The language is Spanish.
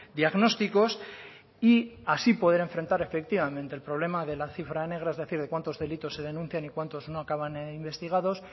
diagnósticos y así poder enfrentar efectivamente el problema de la cifra negra es decir cuántos delitos se denuncian y cuántos no acaban investigados